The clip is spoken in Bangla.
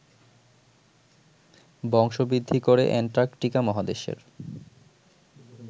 বংশবৃদ্ধি করে অ্যান্টার্কটিকা মহাদেশের